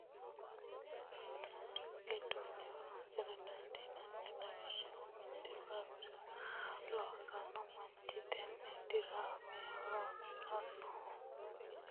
Diraamete yaamantanno, tini diraame manu ayaname gamborranna siribu gambooshi gidono horonsira dandanno, lawishaho mite faariso loosanno manchi tene diraame horonsiranno